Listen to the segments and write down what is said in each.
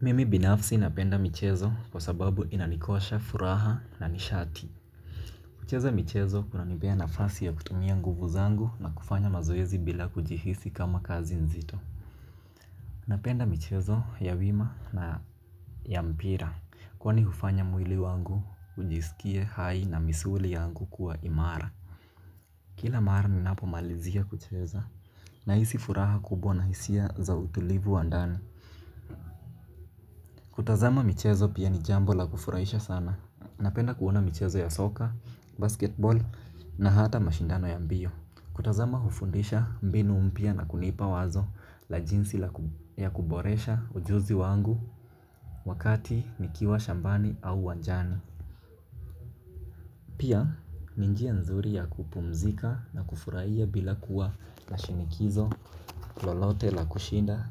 Mimi binafsi napenda michezo kwa sababu inanikosha furaha na nishati. Kucheza michezo kuna nipea nafasi ya kutumia nguvu zangu, na kufanya mazoezi bila kujihisi kama kazi nzito. Napenda michezo ya wima na. Ya mpira. Kwani hufanya mwili wangu, ujisikie hai na misuli yangu kuwa imara. Kila mara ninapo malizia kucheza. Nahisi furaha kubwa na hisia za utulivu wa ndani. Kutazama michezo pia ni jambo la kufurahisha sana. Napenda kuona mchezo ya soka, basketball na hata mashindano ya mbio. Kutazama hufundisha mbinu mpia na kunipa wazo, la jinsi ya kuboresha ujuzi wangu, wakati nikiwa shambani au uwanjani. Pia, ni njia nzuri ya kupumzika na kufurahia bila kuwa, na shinikizo, lolote, la kushinda,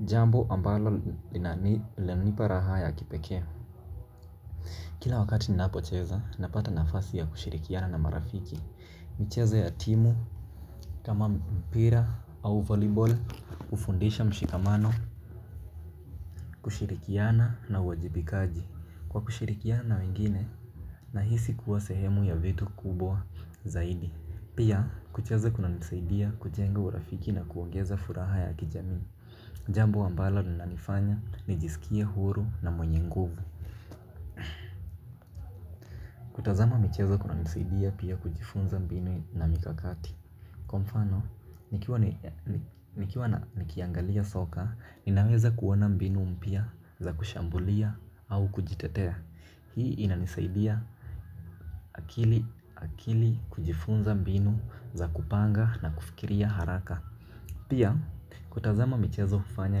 jambo ambalo lanipa raha ya kipekee. Kila wakati ninapo cheza napata nafasi ya kushirikiana na marafiki. Michezo ya timu, kama mpira au volleyball hufundisha mshikamano. Kushirikiana na uajibikaji. Kwa kushirikiana na wengine. Na hisi kuwa sehemu ya vitu kubwa. Zaidi. Pia kucheza kuna nisaidia kujenga urafiki na kuongeza furaha ya kijamii. Jambo ambalo lina nifanya nijisikie huru na mwenye nguvu. Kutazama michezo kuna nisaidia pia kujifunza mbinu na mikakati. Kwa mfano, nikiwa nikiangalia soka, ninaweza kuona mbinu mpya za kushambulia au kujitetea. Hii inanisaidia. Akili kujifunza mbinu za kupanga na kufikiria haraka. Pia, kutazama michezo hufanya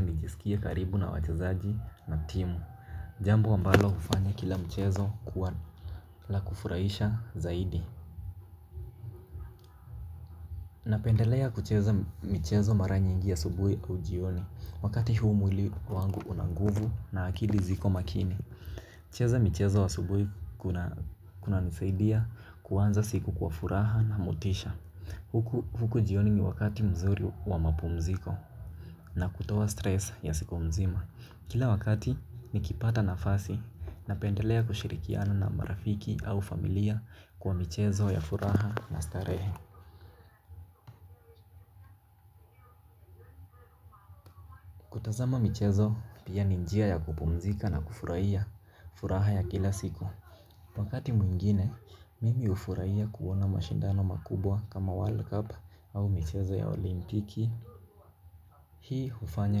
nijisikie karibu na wachezaji na timu. Jambo ambalo hufanya kila mchezo kuwa la kufurahisha zaidi. Napendelea kucheza michezo mara nyingi asubuhi au jioni, wakati huu mwili wangu unanguvu na akili ziko makini. Kucheza mchezo asubuhi, kuna nisaidia, kuanza siku kwa furaha na motisha. Huku jioni ni wakati mzuri wa mapumziko. Na kutoa stress ya siku mzima. Kila wakati. Nikipata nafasi. Napendelea kushirikiana na marafiki au familia. Kwa michezo ya furaha na starehe. Tazama michezo, pia ni njia ya kupumzika na kufurahia, furaha ya kila siku. Wakati mwingine mimi hufurahia kuona mashindano makubwa kama World Cup, au michezo ya olimpiki. Hii hufanya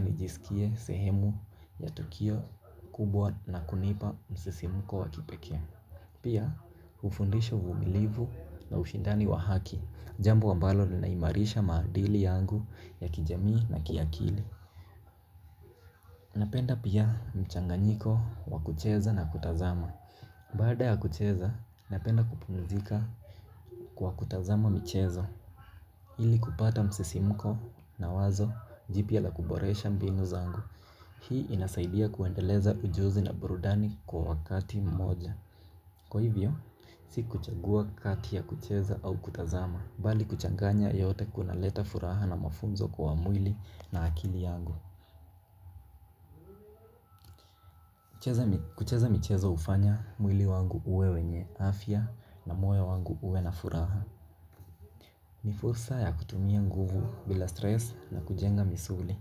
nijisike sehemu, ya tukio kubwa na kunipa msisimuko wa kipekee. Pia hufundisha uvumilivu na ushindani wa haki. Jambo ambalo linaimarisha maadili yangu. Ya kijamii na kiakili. Napenda pia mchanganyiko wa kucheza na kutazama. Baada ya kucheza, napenda kupumzika. Kwa kutazama michezo. Ili kupata msisimuko na wazo jipya la kuboresha mbinu zangu. Hii inasaidia kuendeleza ujuzi na burudani kwa wakati moja. Kwa hivyo, si kuchagua kati ya kucheza au kutazama. Bali kuchanganya yote kuna leta furaha na mafunzo kwa mwili, na akili yangu. Kucheza michezo ufanya mwili wangu uwe wenye afya, na moyo wangu uwe na furaha. Ni fursa ya kutumia nguvu bila stress na kujenga misuli.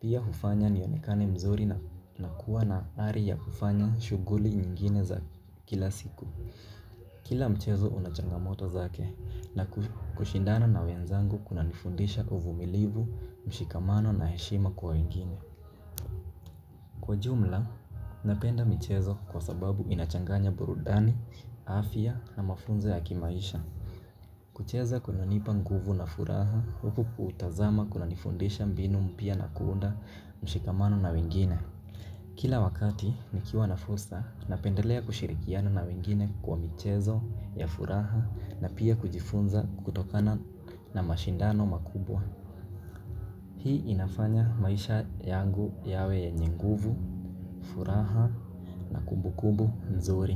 Pia hufanya nionekane mzuri, na kuwa na ari ya kufanya shughuli nyingine za, kila siku. Kila mchezo una changamoto zake, na kushindana na wenzangu kuna nifundisha uvumilivu, mshikamano na heshima kwa wengine. Kwa jumla, napenda michezo kwa sababu inachanganya burudani, afya na mafunzo ya kimaisha. Kucheza kunanipa nguvu na furaha, huku kutazama kuna nifundisha mbinu mpya na kuunda mshikamano na wengine. Kila wakati, nikiwa na fursa, napendelea kushirikiana na wengine kwa michezo ya furaha na pia kujifunza kutokana, na mashindano makubwa. Hii inafanya maisha yangu, yawe yenye nguvu, furaha, na kumbukumbu nzuri.